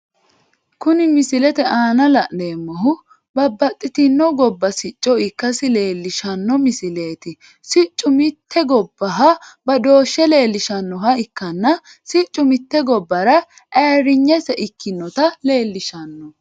Kunni misilete aanna la'neemohu babbaxitino gobba sicco ikasi leelishano misileeti siccu mite gobaha badooshe leelishanoha ikanna siccu mite gobara ayirinyese ikinota leelishano.